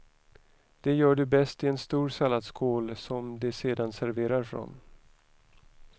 Det gör du bäst i en stor salladsskål som de sedan serverar från.